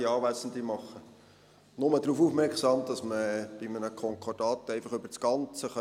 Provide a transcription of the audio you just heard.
Ich mache nur darauf aufmerksam, dass man bei einem Konkordat einfach zum Ganzen